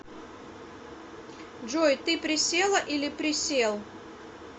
джой ты присела или присел